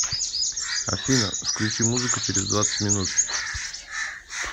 афина включи музыку через двадцать минут